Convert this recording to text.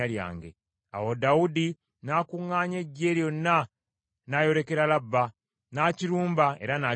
Awo Dawudi n’akuŋŋaanya eggye lyonna n’ayolekera Labba, n’akirumba era n’akiwamba.